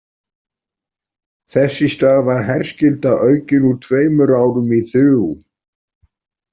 Þess í stað var herskylda aukin úr tveimur árum í þrjú.